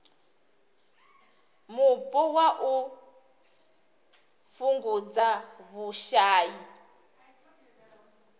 mupo na u fhungudza vhushai